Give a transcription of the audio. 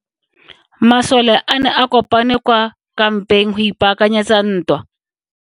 Masole a ne a kopane kwa kampeng go ipaakanyetsa ntwa.